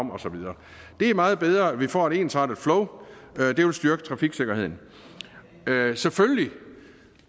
det er meget bedre at vi får et ensartet flow det vil styrke trafiksikkerheden selvfølgelig